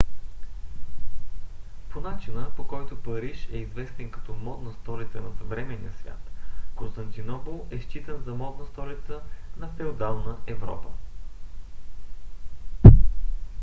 по начина по който париж е известен като модна столица на съвременния свят константинопол е считан за модна столица на феодална европа